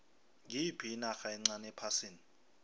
ngiyiphi inarha encani ephasini